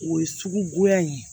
O ye sugu goya ye